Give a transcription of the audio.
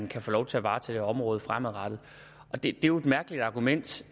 kan få lov til at varetage området fremadrettet det er jo et mærkeligt argument